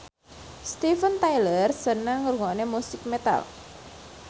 Steven Tyler seneng ngrungokne musik metal